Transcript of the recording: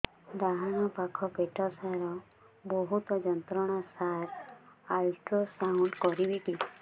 ଡାହାଣ ପାଖ ପେଟ ସାର ବହୁତ ଯନ୍ତ୍ରଣା ସାର ଅଲଟ୍ରାସାଉଣ୍ଡ କରିବି କି